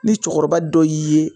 Ni cɛkɔrɔba dɔ y'i ye.